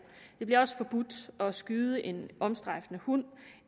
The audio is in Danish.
det bliver også forbudt at skyde en omstrejfende hund og